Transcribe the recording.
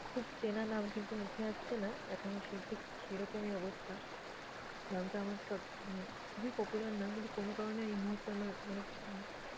খুব চেনা নাম কিন্তু মুখে আসছে না, এখন সে ঠিক সেরকমই অবস্থা। নামটা আমার চট মানে খুবই popular নাম কিন্তু কোনো কারণে এইমুহূর্তে আমার মানে আহ